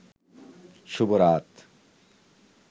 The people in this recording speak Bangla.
শুভ রাত